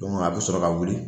Dɔngu a bi sɔrɔ ka wuli